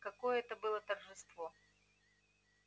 какое это было торжество